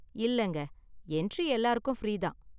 இல்லங்க, என்ட்ரி எல்லாருக்கும் ஃப்ரீ தான்.